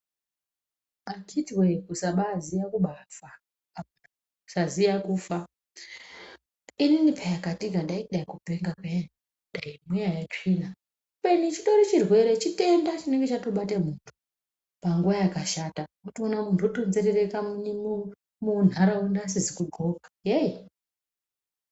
Akhiti wee kusabaziya kubaa fa kusaziya kufa ini pee Katika ndaiti kudai kupenga peyani dai mweya yetsvina kubeni chitori chirwere chitenda chinenge chatobate muntu munguwa yakashata wotoona muntu wotonzerereka muni muntaraunda asizi kudxoka yei.